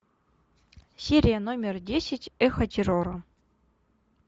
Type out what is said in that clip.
серия номер десять эхо террора